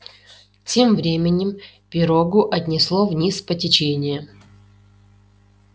тем временем пирогу отнесло вниз по течению